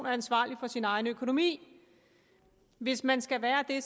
er ansvarlig for sin egen økonomi hvis man skal være det